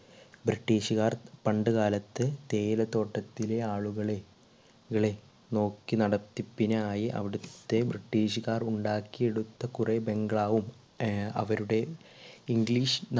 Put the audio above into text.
british കാർ പണ്ട് കാലത്ത് തേയില തോട്ടത്തിലെ ആളുകളെ കളെ നോക്കിനടത്തിപ്പിനായി അവിടത്തെ british കാർ ഉണ്ടാക്കി എടുത്ത കൊറെ bungalow വും ഹും അവരുടെ English